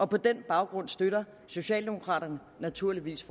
på den baggrund støtter socialdemokraterne naturligvis